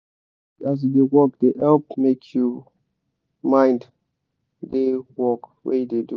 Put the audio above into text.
to sing as you da work da help make you mind da work wey you da do